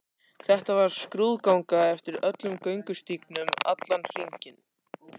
Þetta var skrúðganga eftir öllum göngustígnum, allan hringinn.